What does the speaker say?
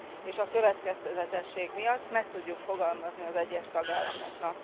és a következetesség miatt meg tudjuk fogalmazni az egyes tagállamoknak.